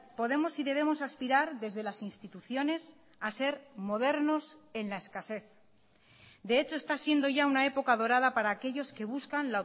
podemos y debemos aspirar desde las instituciones a ser modernos en la escasez de hecho está siendo ya una época dorada para aquellos que buscan